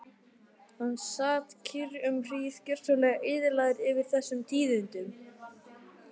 Hann sat kyrr um hríð, gjörsamlega eyðilagður yfir þessum tíðindum.